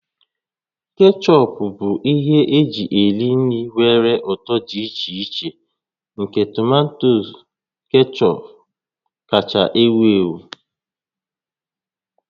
Kechọp bụ ihe eji eri nri nwere ụtọ dị iche iche nke tomato kechọp kacha ewu ewu